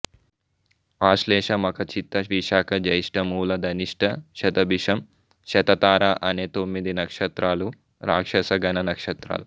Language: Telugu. ఆశ్లేష మఖ చిత్త విశాఖ జ్యేష్ట మూల ధనిష్ట శతభిషం శతతార అనే తొమ్మిది నక్షత్రాలు రాక్షస గణ నక్షత్రాలు